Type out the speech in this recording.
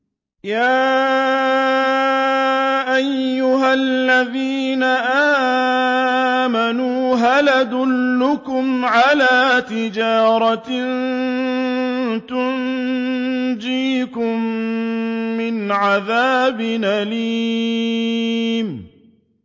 يَا أَيُّهَا الَّذِينَ آمَنُوا هَلْ أَدُلُّكُمْ عَلَىٰ تِجَارَةٍ تُنجِيكُم مِّنْ عَذَابٍ أَلِيمٍ